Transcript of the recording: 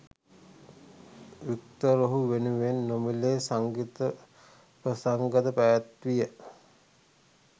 Victor ඔහු වෙනුවෙන් නොමිලේ සංගීත ප්‍රසංගද පැවැත්වීය.